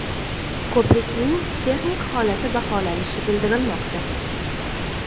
Ko‘prikning texnik holati baholanishi bildirilmoqda.